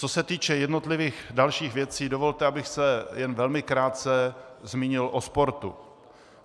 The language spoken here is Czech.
Co se týče jednotlivých dalších věcí, dovolte, abych se jen velmi krátce zmínil o sportu.